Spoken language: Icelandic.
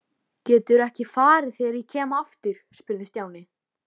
Geturðu ekki farið þegar ég kem aftur? spurði Stjáni.